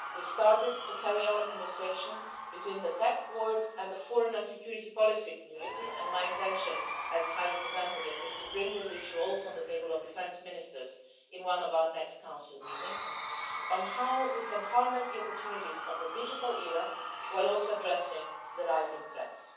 We've started to carry on a conversation between the tech world and the foreign and security policy community, and my intention as High Representative is to put this issue on the table for the defence ministers, too, at one of our next Council meetings the question of how we can harness the opportunities of the digital era while also addressing the rising threats.